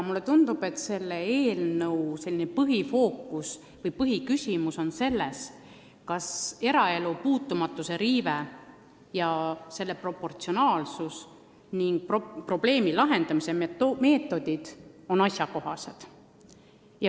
Mulle tundub, et selle eelnõu põhifookus või põhiküsimus on selles, kas eraelu puutumatuse riive ja selle tulemus on proportsionaalsed ning probleemi lahendamise meetodid asjakohased.